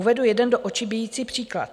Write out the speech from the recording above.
Uvedu jeden do očí bijící příklad.